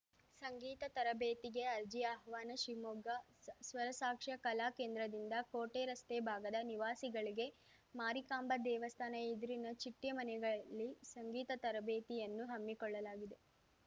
ಸಂಗೀತ ತರಬೇತಿಗೆ ಅರ್ಜಿ ಆಹ್ವಾನ ಶಿವಮೊಗ್ಗ ಸ್ವರಸಾಕ್ಷಾ ಕಲಾಕೇಂದ್ರದಿಂದ ಕೋಟೆರಸ್ತೆ ಭಾಗದ ನಿವಾಸಿಗಳಿಗೆ ಮಾರಿಕಾಂಬ ದೇವಸ್ಥಾನ ಎದುರಿನ ಚಿಟ್ಟೆಮನೆಯಲ್ಲಿ ಸಂಗೀತ ತರಬೇತಿಯನ್ನು ಹಮ್ಮಿಕೊಳ್ಳಲಾಗಿದೆ